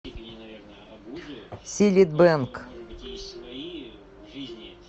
силит бэнг